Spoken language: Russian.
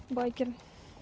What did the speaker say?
байкеры